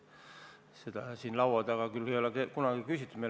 Selle kohta ei ole siin laua taga küll kunagi küsitud.